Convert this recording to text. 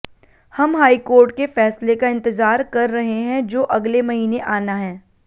हम हाईकोर्ट के फ़ैसले का इंतज़ार कर रहे हैं जो अगले महीने आना है